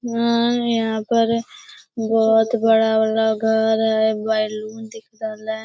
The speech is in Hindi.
यहाँ पर बहोत बड़ा-बड़ा घर है बैलून दिख रहले।